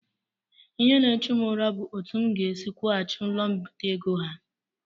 Ihe n'echu m ụra bụ etụ m ga-esi kwughachi ụlọ mbite ego ha.